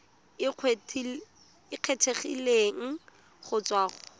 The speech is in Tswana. e kgethegileng go tswa go